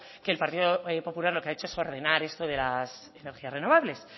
que el partido popular lo que ha hecho es ordenar esto de las energías renovables